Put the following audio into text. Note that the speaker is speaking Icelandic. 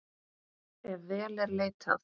Ef vel er leitað.